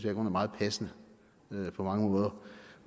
er meget passende på mange måder